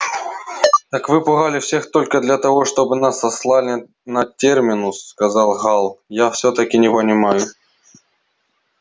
так вы пугали всех только для того чтобы нас сослали на терминус сказал гаал я всё-таки не понимаю